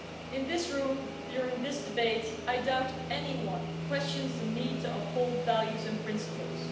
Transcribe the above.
In this room, during this debate, I doubt anyone questions the need to uphold values and principles.